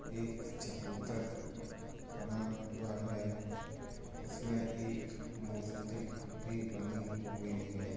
एक चबुतर बना हुआ हे | उसमे एक मूर्ति भी बनी हुई हे |